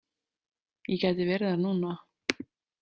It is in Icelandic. Ég gæti verið þar núna.